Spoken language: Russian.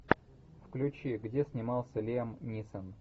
включи где снимался лиам нисон